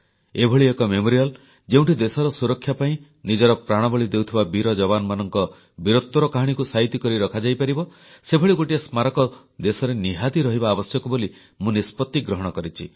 ଏଭଳି ଏକ ସ୍ମାରକୀ ଯେଉଁଠି ଦେଶର ସୁରକ୍ଷା ପାଇଁ ନିଜର ପ୍ରାଣବଳି ଦେଉଥିବା ବୀର ଯବାନମାନଙ୍କ ବୀରତ୍ୱର କାହାଣୀକୁ ସାଇତି କରି ରଖାଯାଇପାରିବ ସେଭଳି ଗୋଟିଏ ସ୍ମାରକୀ ଦେଶରେ ନିହାତି ରହିବା ଆବଶ୍ୟକ ବୋଲି ମୁଁ ନିଷ୍ପତ୍ତି ଗ୍ରହଣ କରିଛି